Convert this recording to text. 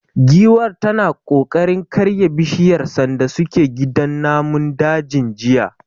Giwar tana kokarin karya bishiyar sanda suke gidan namun dajin jiya.